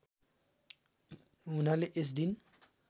हुनाले यस दिन